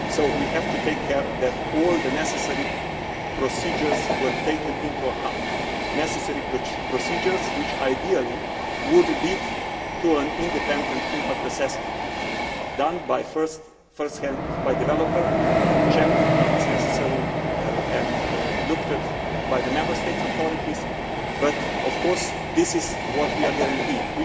We have to take care that all the necessary procedures are taken into account, necessary procedures which ideally should lead to an independent impact assessment, done first hand by the developer, checked if necessary, and looked at by the Member States' authorities. This is what we are guaranteeing.